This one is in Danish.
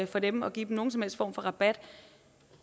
for dem og give dem nogen som helst form for rabat